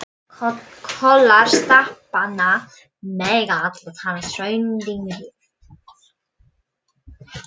Kollar stapanna mega allir teljast hraundyngjur.